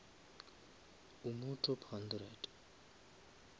o mo top hundred